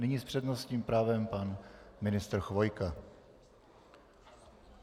Nyní s přednostním právem pan ministr Chvojka.